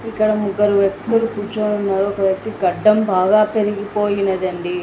ఇక్కడ ముగ్గురు వ్యక్తులు కూర్చొని ఉన్నారు. ఒక్క వ్యక్తీ గడ్డం బాగా పెరిగిపోయినది అండి.